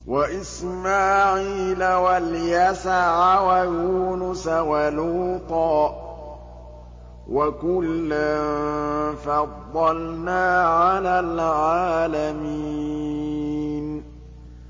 وَإِسْمَاعِيلَ وَالْيَسَعَ وَيُونُسَ وَلُوطًا ۚ وَكُلًّا فَضَّلْنَا عَلَى الْعَالَمِينَ